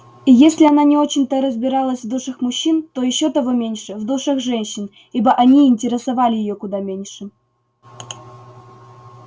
и если она не очень-то разбиралась в душах мужчин то ещё того меньше в душах женщин ибо они и интересовали её куда меньше